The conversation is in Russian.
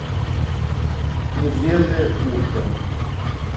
медвежье ушко